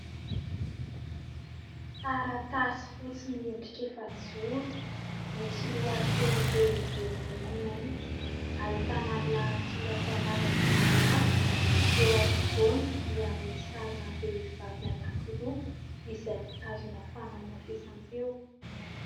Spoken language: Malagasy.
Taratasy fotsy miendrika efa-joro, misy lohateny lehibe miloko mainty. Ahitana lahatsoratra lava dia lava; eo afovoany dia misy sarina vehivavy anankiroa, izay mitazona fanamafisam-peo.